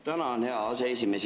Tänan, hea aseesimees!